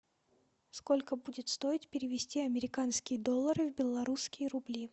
сколько будет стоить перевести американские доллары в белорусские рубли